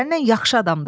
Səndən yaxşı adamdır.